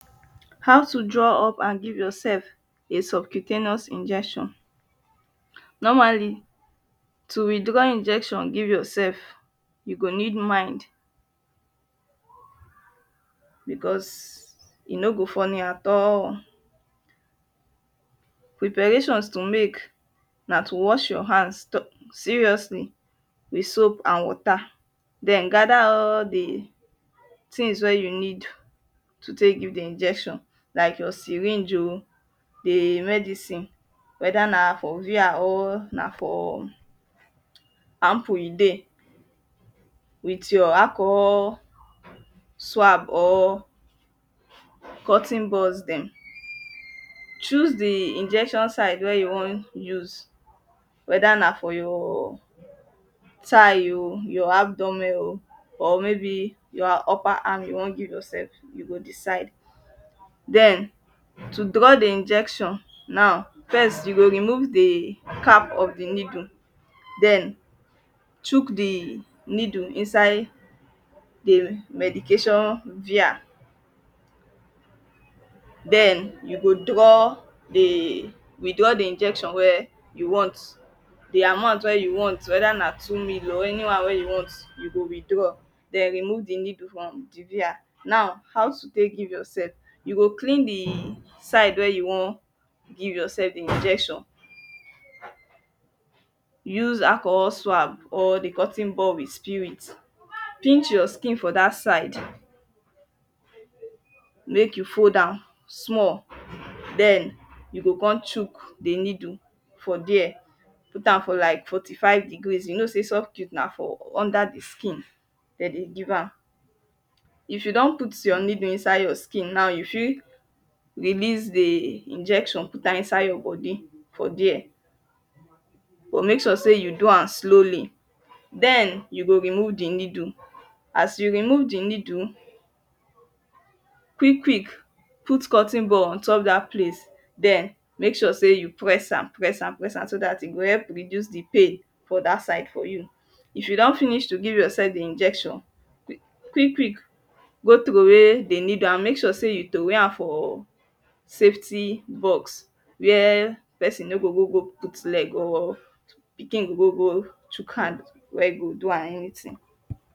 How to draw up an give yoursef a subcutaneous Injection. Normally to withdraw injection giv yoursef you go need mind because e no go funny at all. Preparations to mek na to wash your hand seriously with soap and wata den gada all de tins wey you need to tek give de injection like your syringe oh de medicine weda na for vr or na for ample e dey wit your alcohol swab or cotton buds den choose de injections side wey you wan use weda na for your tigh ooh your abdomen oh or maybe na upper am you wan giv yourself you go decide den to draw de injection now first you go remove de cap of de needle den chuck de needle inside de medication vr den you go draw withdraw de injection wey you want de amount wey you want whether na two ml o any one wey you want you go withdraw den remove de needle from the via now how to tek giv yoursef you go clean de side wey you wan give yoursef de injection use alcohol swab or de cotton ball wit spirit pinch your skin for dat side mek you fold am small den you go com chuck de needle for de put am for like forty five degrees you know say subcu ten a for under de skin den you give am. If you don put your needle inside de skin now you fit release the injection put am inside your body for dia You go make sure say you do am slowly then you go remove the needle as you remove the needle quick quick put cotton bud ontop that place then make mek sure seh you press am press am press am so dat e go help reduce de pain for dat side for you. If you don finish to give yoursef injection quick quick go troway de needle an mek sure seh you troway am for de needle an mek sure seh you troway am for safety box wia person no go gogo put leg or pikin go gogo chuck hand wey e go do am anytin